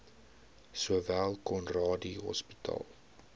sowel conradie hospitaal